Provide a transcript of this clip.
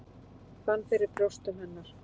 Fann fyrir brjóstum hennar.